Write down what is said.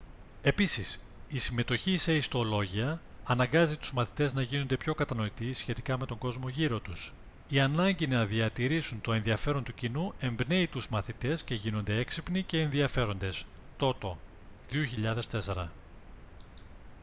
επίσης η συμμετοχή σε ιστολόγια «αναγκάζει τους μαθητές να γίνονται πιο κατανοητοί σχετικά με τον κόσμο γύρω τους». η ανάγκη να διατηρήσουν το ενδιαφέρον του κοινού εμπνέει τους μαθητές να γίνονται έξυπνοι και ενδιαφέροντες τότο 2004